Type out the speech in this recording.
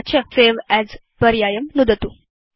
तत चSave अस् पर्यायं नुदतु